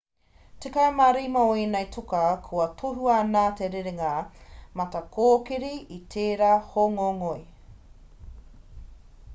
tekau mā rima o ēnei toka kua tohua nā te rerenga matakōkiri i tērā hōngongoi